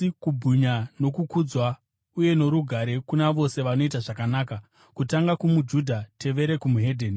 asi kubwinya, nokukudzwa uye norugare kuna vose vanoita zvakanaka: kutanga kumuJudha tevere weDzimwe Ndudzi.